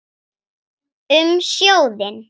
Um sjóðinn